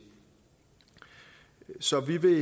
så vi vil